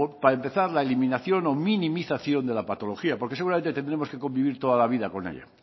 para empezar la eliminación o minimización de la patología porque seguramente tendremos que vivir toda la vida con ello